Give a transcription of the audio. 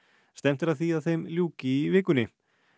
stefnt er að því að þeim ljúki í vikunni